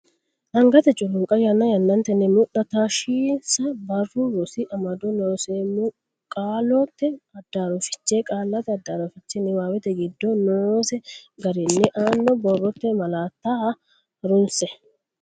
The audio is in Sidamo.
Angate culunqa yanna yannatenni mudha taashshinsa Barru Rosi Amado Looseemmo Qaallate addaarro fiche qaallate addaarro fiche niwaawete giddo noose garinni aanna Borrote malaatta ha runse.